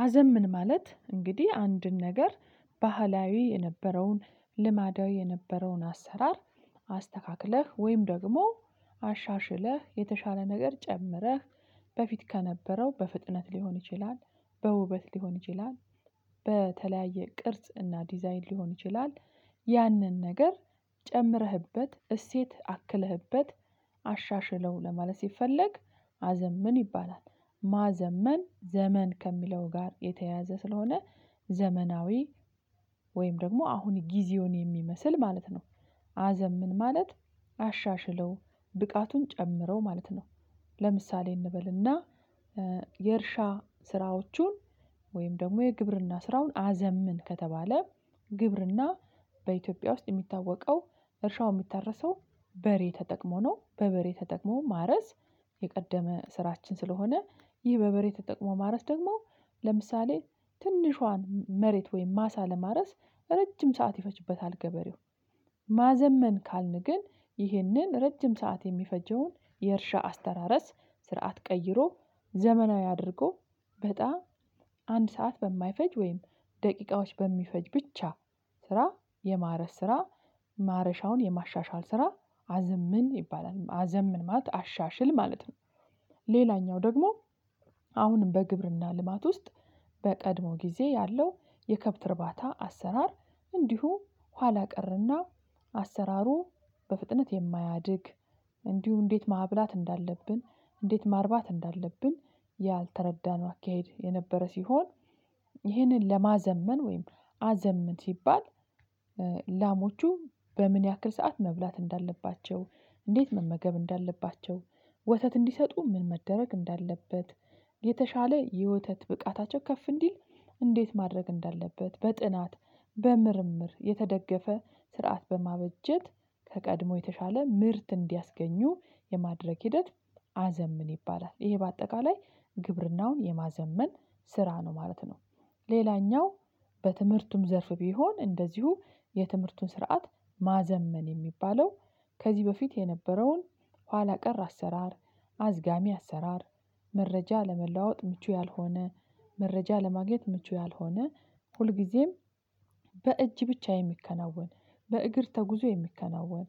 ማዘመን ማለት እንግዲህ አንድን ነገር ባህላዊ የነበረውን ልማዳዊ የነበረውን አሰራር አስተካክለህ ወይም ደግሞ አሻሽለህ የተሻለ ነገር ጨምረህ በፊት ከነበረው በፍጥነት ሊሆን ይችላል በውበት ሊሆን ይችላል በተለያየ ቅርጽ እና ዲዛይን ሊሆን ይችላል ያንን ነገር ጨምረህበት እሴት አክለህበት አሻሽለው ለማለት ሲፈለግ ማዘመን ይባላል። ማዘመን ዘመን ከሚለው ጋር የተያያዘ ስለሆነ ዘመናዊ ወይም ደግሞ አሁን ጊዜውን የሚመስል ማለት ነው። አዘምን ማለት አሻሽለው ብቃቱን ጨምረው ማለት ነው። ለምሳሌ እንበልና የእርሻ ስራዎቹን ወይም ደግሞ የግብርና ስራውን አዘምን ከተባለ። ግብርና በኢትዮጵያ ውስጥ የሚታወቀው እርሻው የሚታረሰው በሬ ተጠቅሞ ነው በበሬ ተጠቅሞ ማረስ የቀደመ ስራችን ስለሆነ ይህ በበሬ ተጠቅሞ ማረስ ደግሞ ለምሳሌ ትንሿን መሬት ወይም ማሳ ለማረስ ረጅም ሰዓት ይፈጅበታል ገበሬው። ማዘመን ካልን ግን ይህንን ረጅም ሰዓት የሚፈጀውን የእርሻ አስተራረስ ስርዓት ቀይሮ ዘመናዊ አድርጎ በጣ አንድ ሰዓት በማይፈጅ ወይም ደቂቃዎች በሚፈጅ ብቻ ስራ የማረስ ስራ ማረሻውን የማሻሻል ስራ አዘምን ይባላል አዘምንማት አሻሽል ማለት ነው። ሌላኛው ደግሞ አሁንም በግብርና ልማት ውስጥ በቀድሞ ጊዜ ያለው የከብት እርባታ አሰራር እንዲሁ ኋላ ቀርና አሰራሩ በፍጥነት የማያድግ እንዲሁ እንዴት ማብላት እንዳለብን እንዴት ማርባት እንዳለብን ያልተረዳነው አካሄድ የነበረ ሲሆን። ይህንን ለማዘመን ወይም አዘመን ሲባል ላሞቹ በምን ያክል ሰዓት መብላት እንዳለባቸው እንዴት መመገብ እንዳለባቸው ወተት እንዲሰጡ ምን መደረግ እንዳለበት የተሻለ የወተት ብቃታቸው ከፍ እንዲል እንዴት ማድረግ እንዳለበት በጥናት በምርምር የተደገፈ ስርዓት በማበጀት ከቀድሞ የተሻለ ምርት እንዲያስገኙ የማድረግ ሂደት። አዘምን ይባላል ይሄ በአጠቃላይ ግብርናውን የማዘመን ስራ ነው ማለት ነው። ሌላኛው በትምህርቱም ዘርፍ ቢሆን እንደዚሁ የትምህርቱን ስርዓት ማዘመን የሚባለው ከዚህ በፊት የነበረውን ኋላ ቀር አሰራር አዝጋሚ አሰራር መረጃ ለመለዋወጥ ምቹ ያልሆነ መረጃ ለማግኘት ምቹ ያልሆነ ሁልጊዜም በእጅ ብቻ የሚከናወን በእግር ተጉዞ የሚከናወን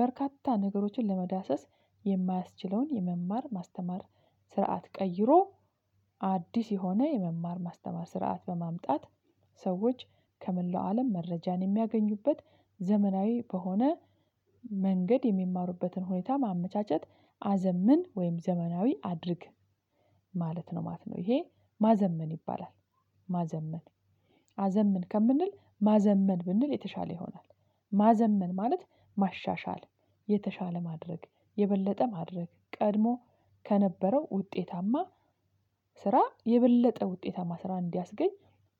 በርካታ ነገሮችን ለመዳሰስ የማያስችለውን የመማር ማስተማር ስርዓት ቀይሮ አዲስ የሆነ የመማር ማስተማር ስርዓት በማምጣት ሰዎች ከመላው አለም መረጃን የሚያገኙበት ዘመናዊ በሆነ መንገድ የሚማሩበትን ሁኔታ ማመቻቸት አዘምን ወይም ዘመናዊ አድርግ ማለት ነው ማለት ነው ይሄ ማዘመን ይባላል። ማዘመን አዘምን ከምንል ማዘመን ብንል የተሻለ ይሆናል። ማዘመን ማለት ማሻሻል የተሻለ ማድረግ የበለጠ ማድረግ ቀድሞ ከነበረው ውጤታማ ስራ የበለጠ ውጤማ ስራ እንዲያስገኝ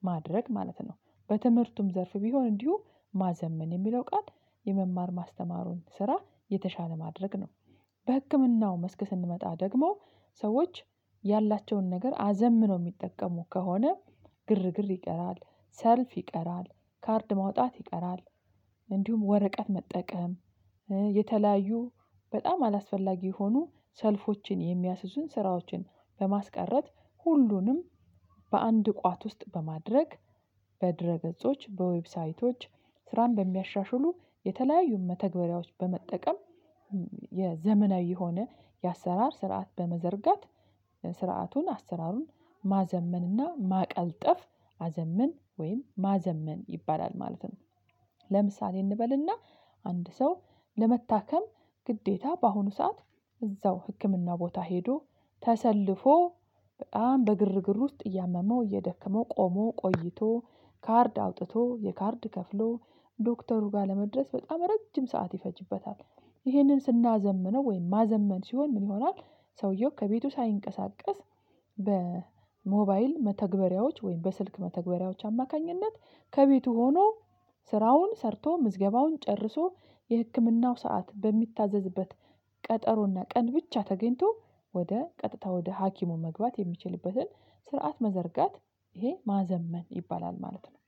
ማድረግ ማለት ነው። በትምህርቱም ዘርፋ ቢሆን እንዲሁ ማዘመን የሚለው ቃል የመማር ማስተማሩን ስራ የተሻለ ማድረግ ነው። በህክምናው መስክ ስንመጣ ደግሞ ሰዎች ያላቸውን ነገር አዘምነው የሚጠቀሙ ከሆነ ግርግር ይቀራል ሰልፍ ይቀራል ካርድ ማውጣት ይቀራል። እንዲሁም ወረቀት መጠቀም የተለያዩ በጣም አላስፈላጊ የሆኑ ሰልፎችን የሚያስዙን ስራዎችን በማስቀረት ሁሉንም በአንድ ቋት ውስጥ በማድረግ በድረ ገጾች በዌብሳይቶች ስራን በሚያሻሽሉ የተለያዩ መተግበሪያዎች በመጠቀም የዘመናዊ የሆነ የአሰራር ስርዓት በመዘርጋት ስርዓቱን አሰራሩን ማዘመንና ማቀልጠፍ አዘምን ወይም ማዘመን ይባላል ማለት ነው። ለምሳሌ እንበልና አንድ ሰው ለመታከም ግዴታ በአሁኑ ሰዓት እዛው ህክምና ቦታ ሄዶ ተሰልፎ በግርግር ውስጥ እያመመው እየደከመው ቆሞ ቆይቶ ካርድ አውጥቶ የካርድ ከፍሎ ዶክተሩ ጋር ለመድረስ በጣም ረጅም ሰዓት ይፈጅበታል። ይህንን ስናዘምነው ወይም ማዘመን ሲሆን ምን ይሆናል? ሰውየው ከቤቱ ሳይንቀሳቀስ በሞባይል መተግበሪያዎች ወይም በስልክ መተግበሪያዎች አማካኝነት ከቤቱ ሆኖ ስራውን ሰርቶ ምዝገባውን ጨርሶ የህክምናው ሰዓት በሚታዘዝበት ቀጠሮና ቀን ብቻ ተገኝቶ ወደ ቀጥታ ወደ ሀኪሙ መግባት የሚችልበትን ስርዓት መዘርጋት ይሄ ማዘመን ይባላል። ማለት ነው።